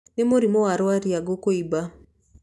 Nĩ mũrimũ wa rwariũngũ kuumba.